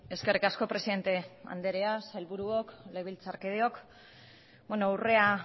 eskerrik asko presidente anderea sailburuok legebiltzarkideok urrea